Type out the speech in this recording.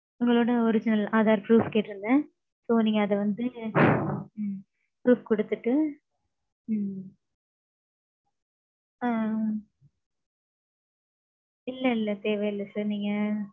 உங்களோட original aadhar proof கேட்டிருந்தேன். so, நீங்க அது வந்து. ம்ம் proof குடுத்துட்டு. ம்ம். ஆ. இல்ல இல்ல தேவை இல்ல sir நீங்க